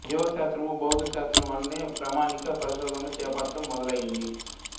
జీవ శాస్త్రము భౌతిక శాస్త్రము వలనే ప్రామాణిక పరిశోధనలు చేపట్టడం మొదలయింది